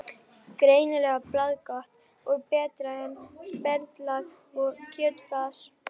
Greinilega bragðgott og betra en sperðlar og kjötfars.